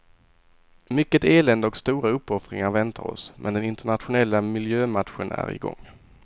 Mycket elände och stora uppoffringar väntar oss, men den internationella miljömatchen är i gång.